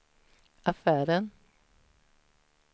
affären